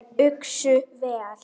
Þær uxu vel.